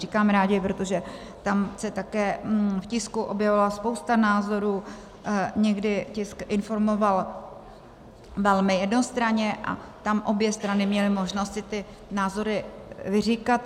Říkám rádi, protože tam se také v tisku objevovala spousta názorů, někdy tisk informoval velmi jednostranně a tam obě strany měly možnost si ty názory vyříkat.